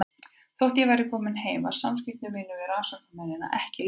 Þótt ég væri komin heim var samskiptum mínum við rannsóknarmennina ekki lokið.